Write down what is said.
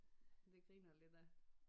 Det griner lidt af